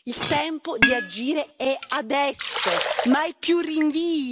Il tempo di agire è adesso, mai più rinvii!